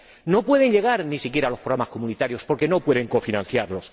No pueden llegar ni siquiera a los programas comunitarios porque no pueden cofinanciarlos.